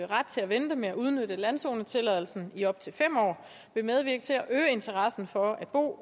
ret til at vente med at udnytte landzonetilladelsen i op til fem år vil medvirke til at øge interessen for at bo